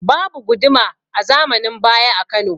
Babu Guduma a zamanin baya a Kano